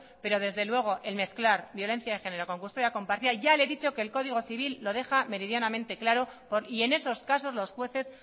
pero desde luego el mezclar violencia de género con custodia compartida ya le he dicho que el código civil lo deja meridianamente claro y en esos casos los jueces